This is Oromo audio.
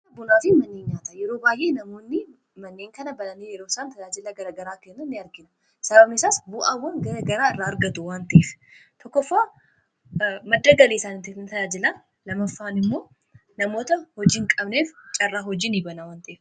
kaabnaatiin mannii nyaataa yeroo baayyee namoonni manneen kana bananii yerooisaan tajaajilaa garagaraa kenna ini argina sabamesaas bu'aawwan gagaraa irraa argatu wanxiif tokkofaa madda galiisaan tajaajilaa lamaffaan immoo namoota hojiiin qabneef caarraa hojii ni banaawwantiif